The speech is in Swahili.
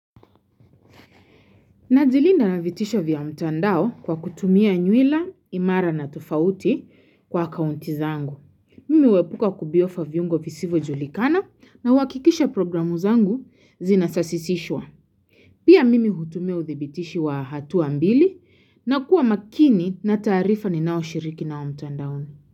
Najilinda na vitisha vya mtandao kwa kutumia nywila imara na tofauti kwa kaunti zangu. Mimi huepuka kubofya viungo visivojulikana na wakikisha programu zangu zinasasisishwa. Pia mimi hutumia udhibitishi wa hatu mbili na kuwa makini na taarifa ninaoshiriki nao mtandao.